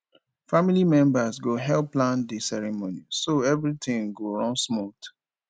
family members go help plan the ceremony so everything go run smooth